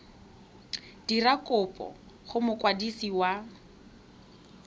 dira kopo go mokwadisi wa